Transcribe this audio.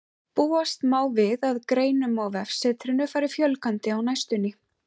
Búast má við að greinum á vefsetrinu fari fjölgandi á næstunni.